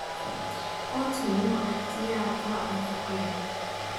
Oatmeal waa ikhtiyaar quraac nafaqo leh.